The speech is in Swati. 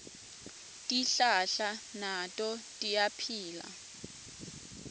tihlahla nato tiyaphila